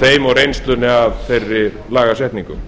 þeim og reynslunni af þeirri lagasetningu